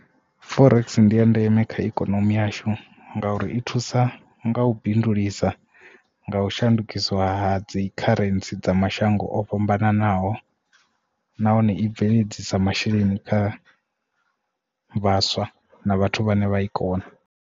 Forex ndi ya ndeme kha ikonomi yashu ngauri i thusa nga u bindulisa nga u shandukisiwa ha dzi kharentsi dza mashango o fhambananaho nahone i bveledzisa masheleni kha vhaswa na vhathu vhane vha i kona.